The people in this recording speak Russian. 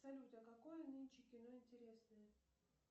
салют а какое нынче кино интересное